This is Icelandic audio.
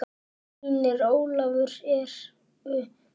Synir Ólafar eru Fannar.